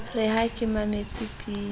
re ha ke mametse pina